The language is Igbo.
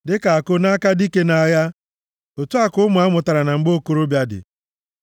Dịka àkụ nʼaka dike nʼagha, otu a, ka ụmụ a mụtaara na mgbe okorobịa dị.